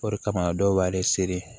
O de kama dɔw b'ale seri